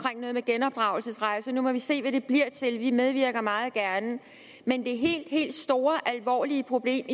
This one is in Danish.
genopdragelsesrejser nu må vi se hvad det bliver til vi medvirker meget gerne men det helt helt store og alvorlige problem